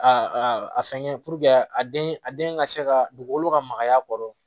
A a fɛngɛ puruke a den a den ka se ka dugukolo ka magaya a kɔrɔ